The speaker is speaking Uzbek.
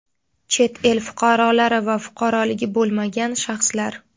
chet el fuqarolari va fuqaroligi bo‘lmagan shaxslar:.